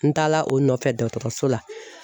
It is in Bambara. N taala o nɔfɛ dɔgɔtɔrɔso la